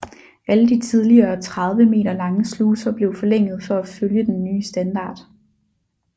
Alle de tidligere 30 meter lange sluser blev forlænget for at følge den nye standard